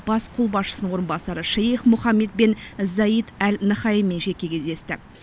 бас қолбасшысының орынбасары шейх мұхаммед бен заид әл наһаянмен жеке кездесті